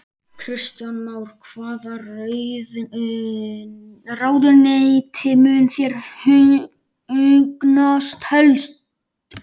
Kristján Már: Hvaða ráðuneyti mun þér hugnast helst?